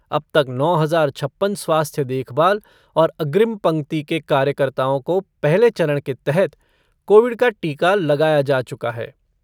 अब तक नौ हज़ार छप्पन स्वास्थ्य देखभाल और अग्रिम पंक्ति के कार्यकर्ताओं को पहले चरण के तहत कोविड का टीका लगाया जा चुका है।